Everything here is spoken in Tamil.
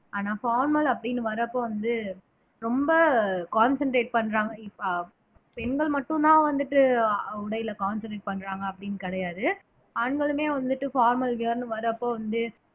ஆனா formal அப்படின்னு வரப்ப வந்து ரொம்ப concentrate பண்றாங்க இப்ப பெண்கள் மட்டும்தான் வந்துட்டு உடையில concentrate பண்றாங்க அப்படின்னு கிடையாது ஆண்களுமே வந்துட்டு formal wear ன்னு வரப்ப வந்து